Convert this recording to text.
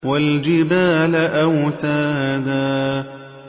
وَالْجِبَالَ أَوْتَادًا